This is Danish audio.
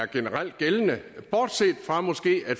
generelt er gældende bortset fra måske at